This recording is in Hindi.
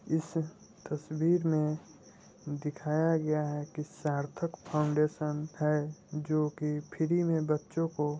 इस तस्वीर में दिखया गया है की सार्थक फाउंडेशन है जो की फ्री में बच्चों को--